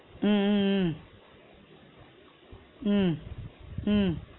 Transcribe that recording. உம் உம் உம் உம் உம்